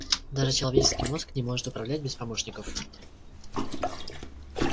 даже человеческий мозг не может управлять без помощников